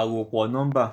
àròpọ̀ nọ́mbà.